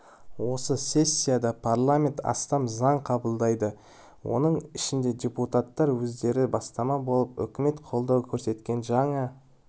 осы сессияда парламент астам заң қабылдайды оның ішінде депутаттар өздері бастама болып үкімет қолдау көрсеткен жаңа